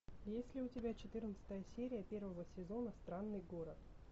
есть ли у тебя четырнадцатая серия первого сезона странный город